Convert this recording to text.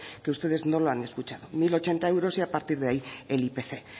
que ustedes no lo han escuchado mil ochenta euros y a partir de ahí el ipc